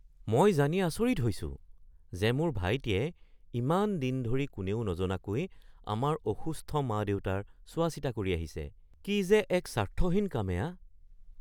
মই জানি আচৰিত হৈছো যে মোৰ ভাইটিয়ে ইমান দিন ধৰি কোনেও নজনাকৈ আমাৰ অসুস্থ মা-দেউতাৰ চোৱাচিতা কৰি আহিছে। কি যে এক স্বাৰ্থহীন কাম এয়া।